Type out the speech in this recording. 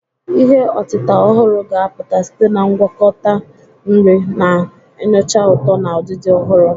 Ihe otita ọhụrụ ga-apụta site na ngwakọta nri, na-enyocha ụtọ na udidi ọhụrụ.